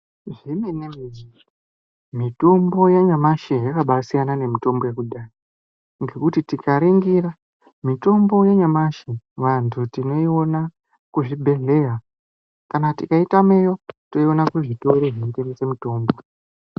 Zvemene-mene, mitombo yanyamashi yakabasiyana nemitombo yekudhaya ngekuti tikaringira, mitombo yenyamashi vantu tinoiona kuzvibhedhleya. Kana tikaitameyo toiona kuzvitoro zvinotengese mitombo.